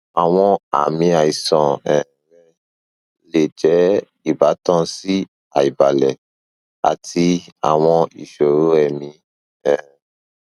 awọn aami aisan um rẹ le jẹ ibatan si aibalẹ ati awọn iṣoro ẹmi um